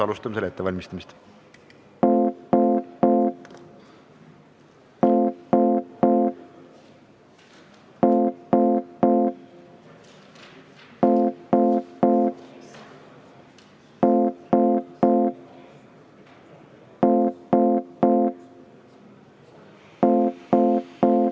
Alustame selle ettevalmistamist.